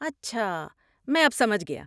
اچھا، میں اب سمجھ گیا۔